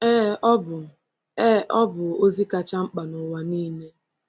Ee, ọ bụ Ee, ọ bụ ozi kacha mkpa n’ụwa niile!